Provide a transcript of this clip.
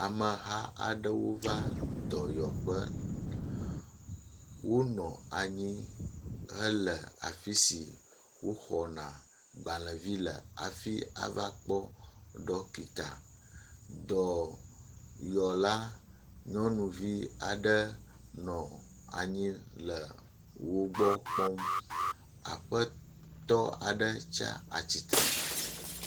Ameha aɖewo va dɔyɔƒe, wonɔ anyi hele afisi wo xɔna gbalẽvi le afi avakpɔ ɖɔkita. Dɔyɔla nyɔnuvi aɖe nɔ anyi le wogbɔ kpɔm, Aƒetɔ aɖe tsa atsitre.